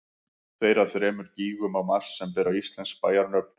tveir af þremur gígum á mars sem bera íslensk bæjarnöfn